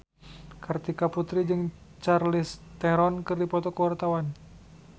Kartika Putri jeung Charlize Theron keur dipoto ku wartawan